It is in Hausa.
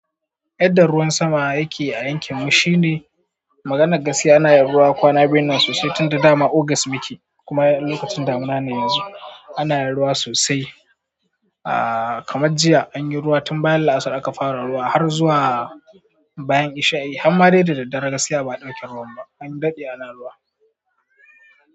Yadda ruwan sama yake a yankin mu shine maganar gaskiya ana yin ruwa kwana biyunnan sosai tunda dama august muke kuma lokacin damina ne yanzu anayin ruwa sosai aa kamar jiya anyi ruwa tun bayan La'asar aka fara ruwa har zuwa bayan isha'i har made da daddare gaskiya ba a ɗauke ruwan ba. An daɗe ana ruwa.